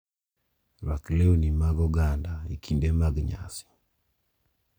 Rwaok lewni mag oganda e kinde mag nyasi,